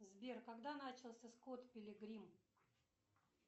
сбер когда начался скотт пилигрим